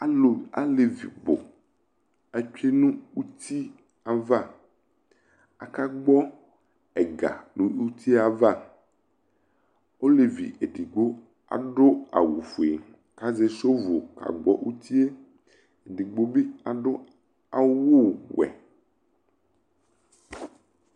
Alʋ, alevi bʋ atsue nʋ uti ava Akagbɔ ɛga nʋ uti yɛ ava Ɔlevi edigbo adʋ awʋ fue Azɛ sɔvʋl kakpɔ uti e Edigbo bi adʋ awʋ wɛ